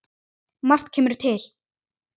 Margt kemur til.